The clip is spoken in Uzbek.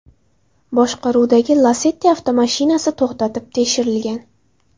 boshqaruvidagi Lacetti avtomashinasi to‘xtatib tekshirilgan.